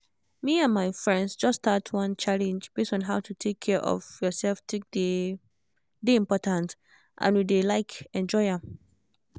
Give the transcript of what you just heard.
me and my friends just start one challenge base on how to take care of yourself take dey dey important and we dey like enjoy am